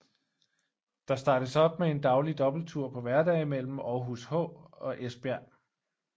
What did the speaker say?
Der startes op med en daglig dobbelttur på hverdage mellem Aarhus H og Esbjerg